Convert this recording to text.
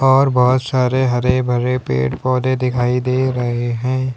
और बहोत सारे हरे भरे पेड़ पौधे दिखाई दे रहे हैं।